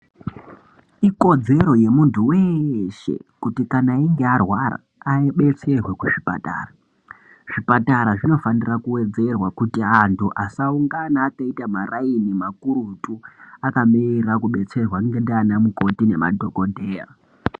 Ikodzero yemuntu weshe kuti kana einge arwara abetserwe kuzvipatara zvipatara zvinofanira kuwedzerwa kuti antu asaungana akaita maraini makurutu akamirira kubetserwa ndianamukoti nemadhokodheya.